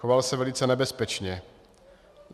Choval se velice nebezpečně.